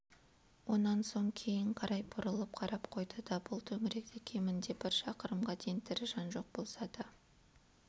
онан соң кейін қарай бұрылып қарап қойды да бұл төңіректе кемінде бір шақырымға дейін тірі жан жоқ болса да